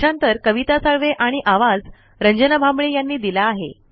भाषांतर कविता साळवे आणि आवाज रंजना भांबळे यांनी दिला आहे